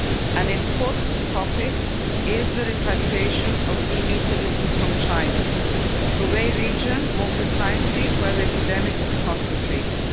An important topic is the repatriation of EU citizens from China the Hubei region, more precisely, where the epidemic is concentrated.